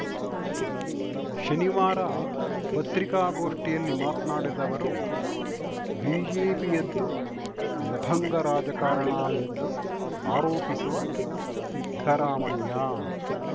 ಶನಿವಾರ ಪತ್ರಿಕಾಗೋಷ್ಠಿಯಲ್ಲಿ ಮಾತ್ನಾಡಿದ ಅವರು ಬಿಜೆಪಿಯದ್ದು ಲಫಂಗ ರಾಜಕಾರಣ ಎಂದು ಆರೋಪಿಸುವ ಸಿದ್ದರಾಮಯ್ಯ